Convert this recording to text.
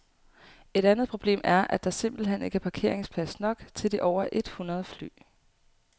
Et andet problem er, at der simpelt hen ikke er parkeringsplads nok til de over et hundrede fly.